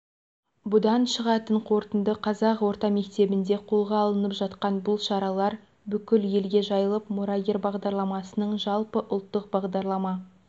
бұдан шығатын қорытынды қазақ орта мектебінде қолға алынып жатқан бұл шаралар бүкіл елге жайылып мұрагер бағдарламасының жалпыұлттық бағдарлама